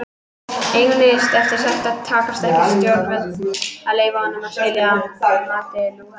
Einungis ef sættir takast ekki eiga stjórnvöld að leyfa hjónum að skilja að mati Lúthers.